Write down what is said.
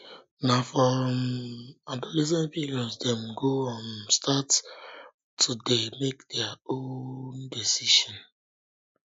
na for um adolescence period dem go um start to dey um make their own decisions